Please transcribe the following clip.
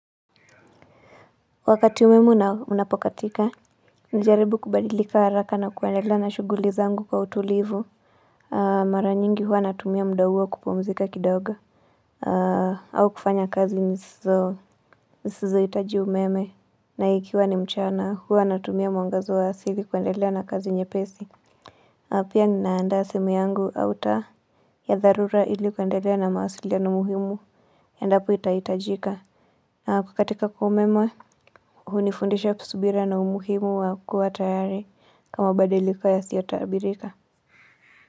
Wakati umeme unapokatika, najaribu kubadilika haraka na kuendelea na shughuli zangu kwa utulivu Mara nyingi huwa natumia muda huo kupumzika kidogo au kufanya kazi nisizohitaji umeme na ikiwa ni mchana huwa natumia mwangaza wa asili kuendelea na kazi nyepesi na pia ninaendea simu yangu Auta ya dharura ili kuendelea na mawasiliano muhimu Endapo itahitajika. Kukatika kwa umeme hunifundisha usubira na umuhimu wa kuwa tayari Kwa mabadiliko yasiotaabirika.